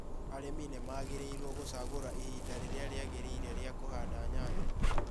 Arĩmi nĩ magĩrĩirũo gũcagura ihinda rĩrĩa rĩagĩrĩire rĩa kũhanda nyanya